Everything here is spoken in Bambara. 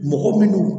Mɔgɔ minnu